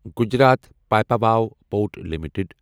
Gujarat Pipavav port limited